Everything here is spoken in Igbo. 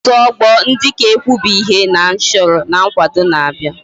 Otu ogbo ndi nka ga ekwebi ihe ha choro na nkwado na abia